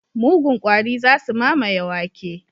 Mugun kwari za su mamaye wake.